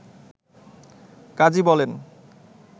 কাজী বলেন